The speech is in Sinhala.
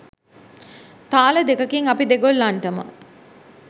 තාල දෙකකින් අපි දෙගොල්ලන්ටම